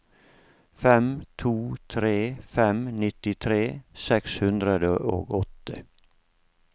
fem to tre fem nittitre seks hundre og åtte